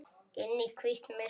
Inn í hvítt myrkur.